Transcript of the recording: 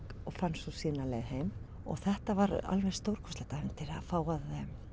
og fann svo sína leið heim þetta var stórkostlegt ævintýri að fá að